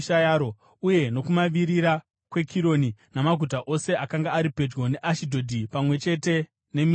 uye nokumavirira kweKironi namaguta ose akanga ari pedyo neAshidhodhi pamwe chete nemisha yawo;